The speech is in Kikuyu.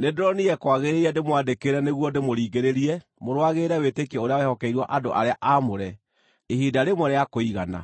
nĩndĩronire kwagĩrĩire ndĩmwandĩkĩre nĩguo ndĩmũringĩrĩrie mũrũagĩrĩre wĩtĩkio ũrĩa wehokeirwo andũ arĩa aamũre ihinda rĩmwe rĩa kũigana.